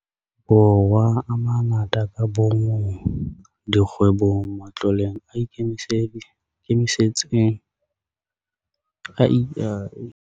Borwa a mangata ka bomong, dikgwebong, matloleng a ikemetseng le mebusong e meng, re kgonne ho reka di-PPE bakeng sa basebetsi bana ba sebete ba tshwereng teu.